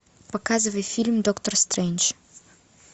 показывай фильм доктор стрэндж